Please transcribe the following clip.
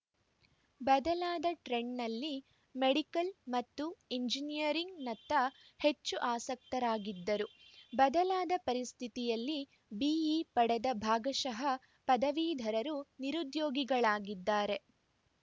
ಬದಲಾದ ಟ್ರೆಂಡ್‌ನಲ್ಲಿ ಮೆಡಿಕಲ್‌ ಮತ್ತು ಎಂಜಿನಿಯರಿಂಗ್‌ನತ್ತ ಹೆಚ್ಚು ಆಸಕ್ತರಾಗಿದ್ದರು ಬದಲಾದ ಪರಿಸ್ಥಿತಿಯಲ್ಲಿ ಬಿಇ ಪಡೆದ ಭಾಗಶಃ ಪದವೀಧರರು ನಿರುದ್ಯೋಗಿಗಳಾಗಿದ್ದಾರೆ